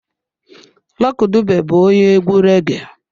Lucky Dube bụ onye egwu reggee.